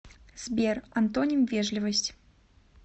сбер антоним вежливость